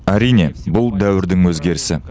әрине бұл дәуірдің өзгерісі